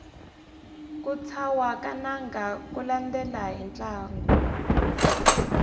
ku thwasa ka nanga ku landela hi ntlangu